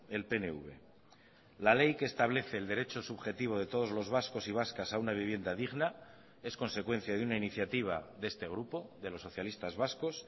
el pnv la ley que establece el derecho subjetivo de todos los vascos y vascas a una vivienda digna es consecuencia de una iniciativa de este grupo de los socialistas vascos